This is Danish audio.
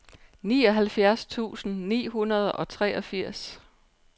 nioghalvfjerds tusind ni hundrede og treogfirs